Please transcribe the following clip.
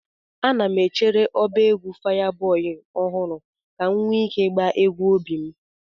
Ana m echere ọba egwu Fayaboi ọhụrụ ka m nwee ike ịgba egwu obi m.